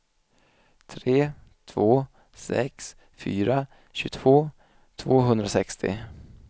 tre två sex fyra tjugotvå tvåhundrasextio